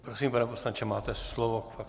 Prosím, pane poslanče, máte slovo.